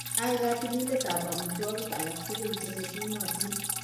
Ai katililetab amitwogik alak tugul cheng'etunotin